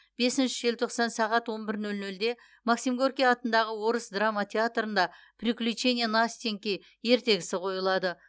бесінші желтоқсан сағат он бір нөл нөлде максим горький атындағы орыс драма театрында приключения настеньки ертегісі қойылады